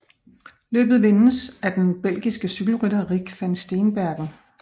Løbet vindes af den belgiske cykelrytter Rik van Steenbergen